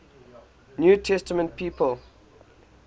new testament people